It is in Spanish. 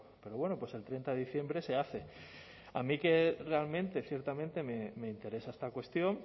pero bueno pues el treinta de diciembre se hace a mí que realmente ciertamente me interesa esta cuestión